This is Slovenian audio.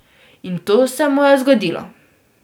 In to se mu je zgodilo.